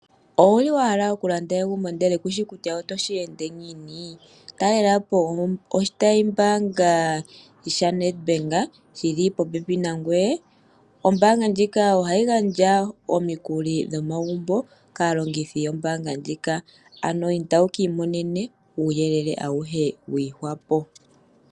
Owuli wahala okulanda egumbo ndele kushi kutya otoshi ende ngiini? Talelapo oshitayi mbaanga sha Nedbank shili popepi nangoye. Ombaanga ndjika ohayi gandja omikuli dhomagumbo kaalongithi yombaanga ndjika, ano inda wuka imonene uuyelele awuhe wa ihwapo.